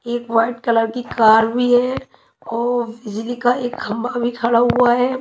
एक white colour की car भी है और बिजली का एक खंभा भी खड़ा हुआ है।